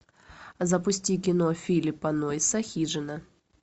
запусти кино филлипа нойса хижина